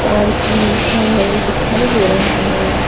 Parking लिखा हुआ भी दिखाई दे रहा है।